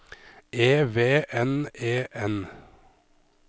E V N E N